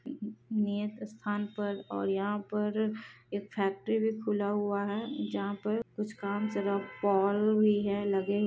नियत स्थान पर और यहा पर एक फेक्टरी भी खुला हुआ हे जहा पर कुछ काम से लोग पोल लगे हुए हें।